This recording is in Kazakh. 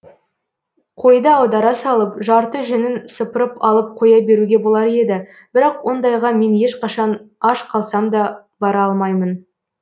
қойды аудара салып жарты жүнін сыпырып алып қоя беруге болар еді бірақ ондайға мен ешқашан аш қалсамда бара алмаймын